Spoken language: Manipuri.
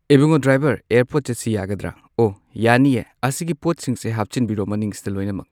ꯏꯕꯨꯡꯉꯣ ꯗ꯭ꯔꯥꯏꯚꯔ ꯑꯦꯌꯥꯔꯄꯣꯔꯠ ꯆꯠꯁꯤ ꯌꯥꯒꯗ꯭ꯔꯥ꯫ ꯑꯣ ꯌꯥꯅꯤꯌꯦ ꯑꯁꯤꯒꯤ ꯄꯣꯠꯁꯤꯡꯁꯦ ꯍꯥꯞꯆꯤꯟꯕꯤꯔꯣ ꯃꯅꯤꯡꯁꯤꯗ ꯂꯣꯏꯅꯃꯛ꯫